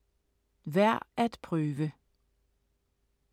Værd at prøve